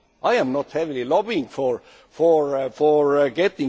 I am not heavily lobbying for